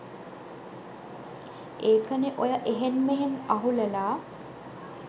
ඒකනේ ඔය එහෙං මෙහෙං අහුලලා